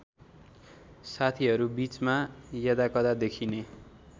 साथीहरूबीचमा यदाकदा देखिने